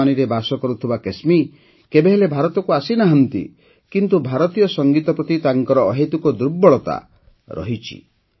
ଜର୍ମାନୀରେ ବାସ କରୁଥିବା କେସ୍ମୀ କେବେହେଲେ ଭାରତକୁ ଆସିନାହାନ୍ତି କିନ୍ତୁ ଭାରତୀୟ ସଙ୍ଗୀତ ପ୍ରତି ତାଙ୍କର ଅହେତୁକ ଦୁର୍ବଳତା ରହିଛି